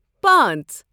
پانژھ